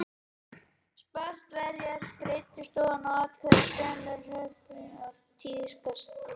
Spartverjar greiddu oftast atkvæði með hrópum fremur en með handauppréttingum eins og tíðkaðist í Aþenu.